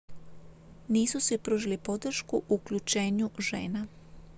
nisu svi pružili podršku uključenju žena